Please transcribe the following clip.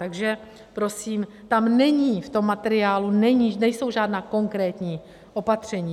Takže prosím, tam není, v tom materiálu nejsou žádná konkrétní opatření.